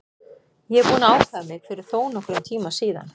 Ég er búinn að ákveða mig fyrir þónokkrum tíma síðan.